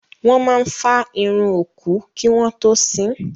Wọ́n máa fá irun òkú kí wọ́n tó sín.